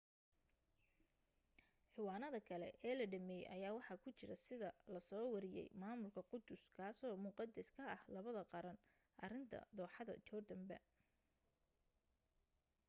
ciwaanada kale ee la dhameeyay ayaa waxa ku jira sida lasoo wariyay maamulka qudus kazoo muqadas ka ah labada qaran arinta dooxada jordan ba